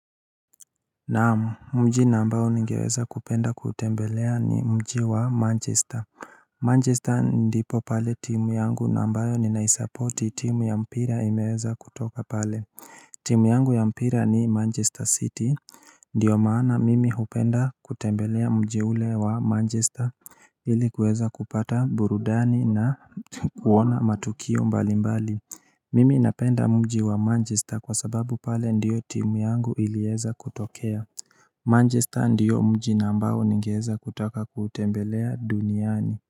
Naamu, mji ambao nigeweza kupenda kutembelea ni mji wa Manchester. Manchester ndipo pale timu yangu nambayo ninaispoti timu ya mpira imeweza kutoka pale timu yangu ya mpira ni Manchester City Ndio maana mimi hupenda kutembelea mji ule wa Manchester ilikuweza kupata burudani na kuona matukio mbali mbali Mimi napenda mji wa Manchester kwa sababu pale ndio timu yangu iliweza kutokea Manchester ndiyo mji na ambao ningeweza kutaka kutembelea duniani.